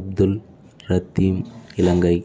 Abdul Latheef Ilangai